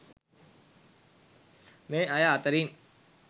මේ අය අතරින්